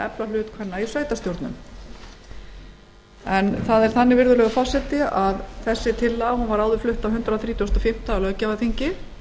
efla hlut kvenna í sveitarstjórnum tillagan var áður flutt á hundrað þrítugasta og fimmta löggjafarþingi